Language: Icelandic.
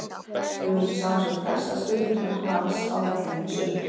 Við viljum sjá sem flesta stuðningsmenn Vals á vellinum í sumar!